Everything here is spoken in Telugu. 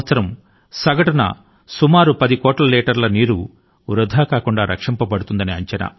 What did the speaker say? ఏటా సగటు న 100 మిలియన్ లీటర్ ల నీటి ని సంరక్షిస్తున్నారని అంచనా